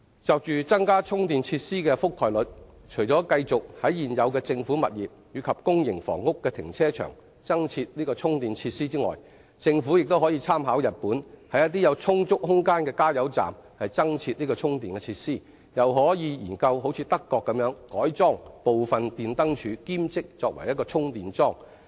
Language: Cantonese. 就增加充電設施的覆蓋率，除繼續在現有政府物業及公營房屋的停車場增設充電設施外，政府亦可參考日本，在一些有充足空間的加油站增設充電設施，又可研究德國改裝部分電燈柱以兼作充電樁的例子。